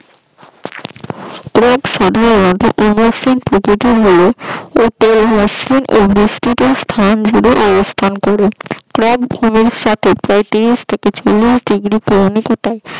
বৃষ্টিতে স্থান জুড়ে অবস্থান করে। পঁয়ত্রিশ থেকে চল্লিশ ডিগ্রী